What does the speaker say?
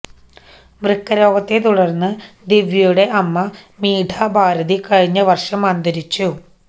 വൃക്കരോഗത്തെ തുടര്ന്ന് ദിവ്യയുടെ അമ്മ മീഠാ ഭാരതി കഴിഞ്ഞ വര്ഷം അന്തരിച്ചു